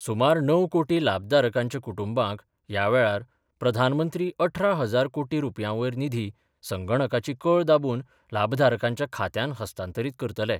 सुमार णव कोटी लाभधारकांच्या कुटुंबांक यावेळार प्रधानमंत्री अठरा हजार कोटी रूपयांवयर निधी संगणकाची कळ दाबून लाभधारकांच्या खात्यान हस्तांतरित करतले.